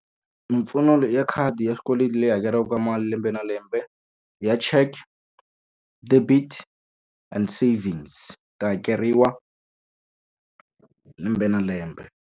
Mimpfuno ya khadi ya swikweleti leyi hakeriwaka mali lembe na lembe, ya cheque. debit and savings. Ta hakeriwa lembe na lembe.